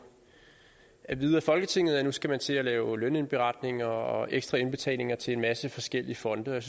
at vide af folketinget at nu skal man til at lave lønindberetninger og ekstra indbetalinger til en masse forskellige fonde jeg